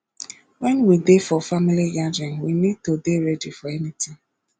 when we dey for family gathering we need to dey ready for anything